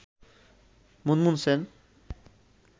Munmun Sen